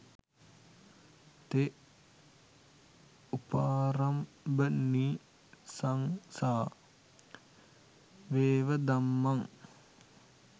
තෙ උපාරම්භනිසංසා වෙව ධම්මං